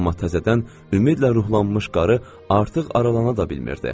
Amma təzədən ümidlə ruhlanmış qarı artıq aralana da bilmirdi.